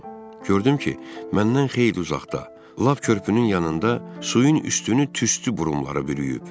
Gördüm ki, məndən xeyli uzaqda, lap körpünün yanında suyun üstünü tüstü burumları bürüyüb.